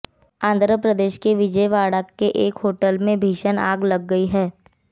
आंध्र प्रदेश के विजयवाड़ा के एक होटल में भीषण आग लग गई है